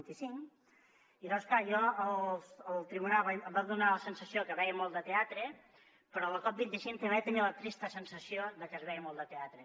i llavors clar jo al tribunal em va donar la sensació que veia molt de teatre però a la cop25 també vaig tenir la trista sensació de que es veia molt de teatre